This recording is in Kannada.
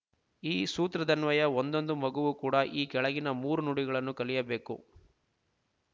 ಈ ಸೂತ್ರದನ್ವಯ ಒಂದೊಂದು ಮಗುವು ಕೂಡ ಈ ಕೆಳಗಿನ ಮೂರು ನುಡಿಗಳನ್ನು ಕಲಿಯಬೇಕು